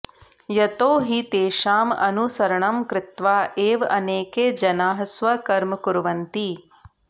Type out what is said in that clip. यतो हि तेषाम् अनुसरणं कृत्वा एव अनेके जनाः स्वकर्म कुर्वन्ति